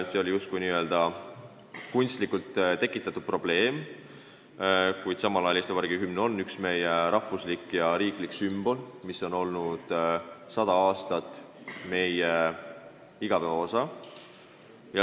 See oli justkui kunstlikult tekitatud probleem, kuid samal ajal on hümn üks meie rahvuslikke ja riiklikke sümboleid, mis on olnud sada aastat meie igapäeva osa.